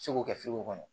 Segu kɛ sugu kɔnɔ